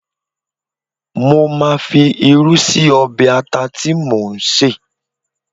Mo máa fi irú sí ọbẹ̀ ata tí mò ń sè